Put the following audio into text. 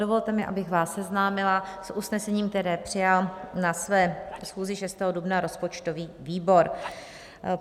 Dovolte mi, abych vás seznámila s usnesením, které přijal na své schůzi 6. dubna rozpočtový výbor.